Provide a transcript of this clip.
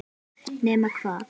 Nema hvað?